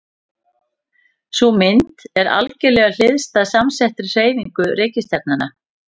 Sú mynd er algerlega hliðstæð samsettri hreyfingu reikistjarnanna.